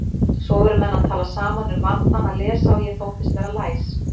Svo voru menn að tala saman um vandann að lesa og ég þóttist vera læs.